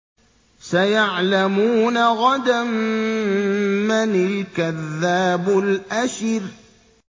سَيَعْلَمُونَ غَدًا مَّنِ الْكَذَّابُ الْأَشِرُ